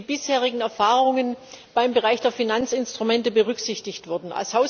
wie die bisherigen Erfahrungen im Bereich der Finanzinstrumente berücksichtigt wurden.